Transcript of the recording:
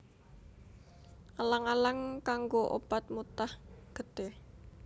Alang alang kanggo obat mutah getih